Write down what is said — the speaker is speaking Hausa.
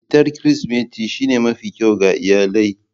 Fitar Kirsimeti shine mafi kyau ga iyalai.